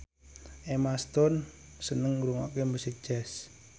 Emma Stone seneng ngrungokne musik jazz